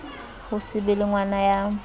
ho se be lengwana ya